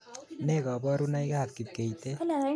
Ne koborunoikab kipkeitet